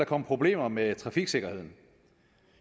komme problemer med trafiksikkerheden